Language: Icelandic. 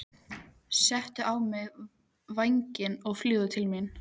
Settu á þig vængina og fljúgðu til mín.